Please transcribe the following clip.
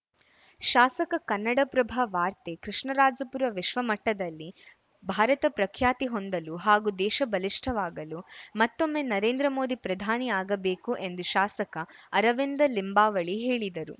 ಶಾಸಕ ಕನ್ನಡಪ್ರಭ ವಾರ್ತೆ ಕೃಷ್ಣರಾಜಪುರ ವಿಶ್ವ ಮಟ್ಟದಲ್ಲಿ ಭಾರತ ಪ್ರಖ್ಯಾತಿ ಹೊಂದಲು ಹಾಗೂ ದೇಶ ಬಲಿಷ್ಠವಾಗಲು ಮತ್ತೊಮ್ಮೆ ನರೇಂದ್ರ ಮೋದಿ ಪ್ರಧಾನಿ ಆಗಬೇಕು ಎಂದು ಶಾಸಕ ಅರವಿಂದಲಿಂಬಾವಳಿ ಹೇಳಿದರು